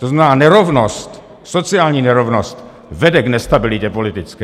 To znamená nerovnost, sociální nerovnost, vede k nestabilitě politické.